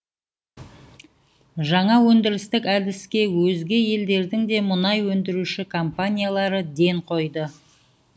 жаңа өндірістік әдіске өзге елдердің де мұнай өндіруші компаниялары ден қойды